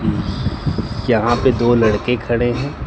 यहां पे दो लड़के खड़े हैं।